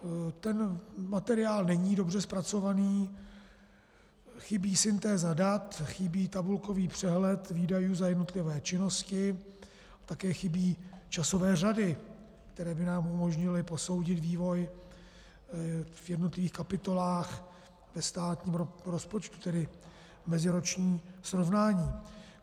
Ten materiál není dobře zpracovaný, chybí syntéza dat, chybí tabulkový přehled výdajů za jednotlivé činnosti, také chybí časové řady, které by nám umožnily posoudit vývoj v jednotlivých kapitolách ve státním rozpočtu, tedy meziroční srovnání.